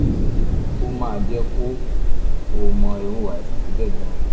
ó máa jẹ́ kó o mọ irú àìsàn tó jẹ́ gan-an